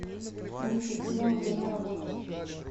ценитель пива время работы